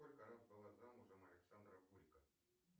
сколько раз была замужем александра гулько